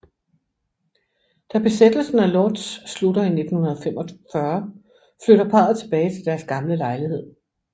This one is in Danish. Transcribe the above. Da besættelsen af Lódz slutter i 1945 flytter parret tilbage til deres gamle lejlighed